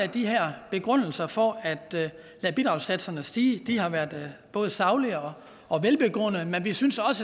de her begrundelser for at lade bidragssatserne stige har været både saglige og velbegrundede men vi synes